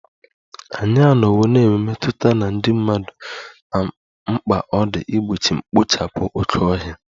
Anyị anọwo na-enwe mmetụta na ndị mmadụ na mkpa ọ dị igbochi mkpochapu oke ohia